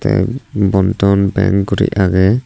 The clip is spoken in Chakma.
te banadhan bank guri agey.